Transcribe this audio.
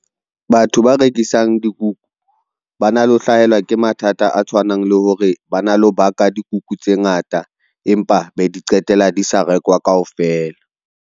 Batho ba rekisang dikuku ba na le ho hlahelwa ke mathata a tshwanang le hore, ba na le ho baka dikuku tse ngata, empa be di qetela di sa rekwa kaofela.